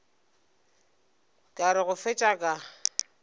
ka re go fetša ka